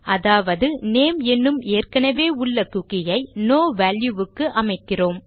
அதாவது நேம் என்னும் ஏற்கெனெவே உள்ள குக்கி ஐ நோ வால்யூ க்கு அமைக்கிறோம்